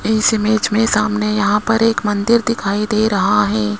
इस इमेज में सामने यहां पर एक मंदिर दिखाई दे रहा है।